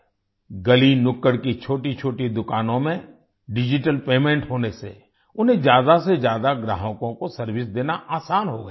गलीनुक्कड़ की छोटीछोटी दुकानों में डिजिटल पेमेंट होने से उन्हें ज्यादा से ज्यादा ग्राहकों को सर्वाइस देना आसान हो गया है